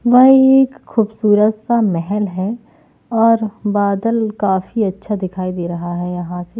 वह एक खूबसूरत सा महल है और बादल काफी अच्छा दिखाई दे रहा है यहां स --